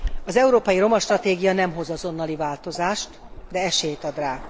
Az európai roma stratégia nem hoz azonnali változást, de esélyt ad rá.